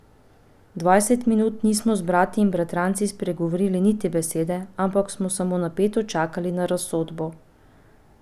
Dvajset minut nismo z brati in bratranci spregovorili niti besede, ampak smo samo napeto čakali na razsodbo.